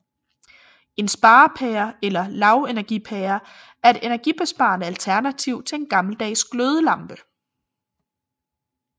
En sparepære eller lavenergipære er et energibesparende alternativ til en gammeldags glødelampe